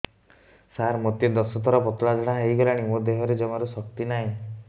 ସାର ମୋତେ ଦଶ ଥର ପତଳା ଝାଡା ହେଇଗଲାଣି ମୋ ଦେହରେ ଜମାରୁ ଶକ୍ତି ନାହିଁ